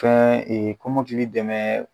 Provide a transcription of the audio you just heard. Fɛn e komɔkili dɛmɛ